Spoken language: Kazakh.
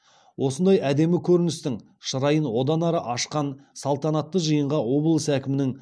осындай әдемі көріністің шырайын одан ары ашқан салтанатты жиынға облыс әкімінің